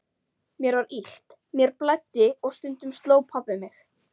Mér var illt, mér blæddi og stundum sló pabbi mig.